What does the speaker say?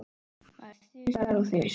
Maður þusar og þusar.